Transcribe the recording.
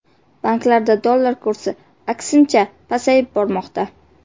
Banklarda dollar kursi, aksincha, pasayib bormoqda .